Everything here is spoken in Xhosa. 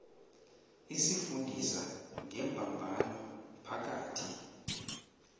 isifundisa ngembambano phakathi